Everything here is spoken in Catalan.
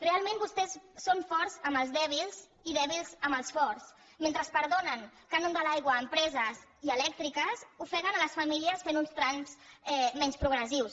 realment vostès són forts amb els dèbils i dèbils amb els forts mentre perdonen cànon de l’aigua a empreses i elèctriques ofeguen les famílies fent uns trams menys progressius